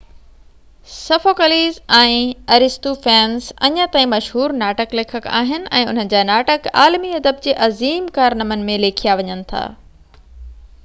Sophocles ۽ Aristophanes اڃا تائين مشهور ناٽڪ ليکڪ آهن ۽ انهن جا ناٽڪ عالمي ادب جي عظيم ڪارنامن ۾ ليکيا وڃن ٿا